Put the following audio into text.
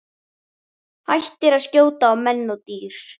Hættir að skjóta á menn og dýr.